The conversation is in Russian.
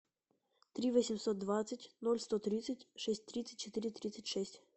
три восемьсот двадцать ноль сто тридцать шесть тридцать четыре тридцать шесть